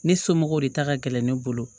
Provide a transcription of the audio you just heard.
Ne somɔgɔw de ta ka gɛlɛn ne bolo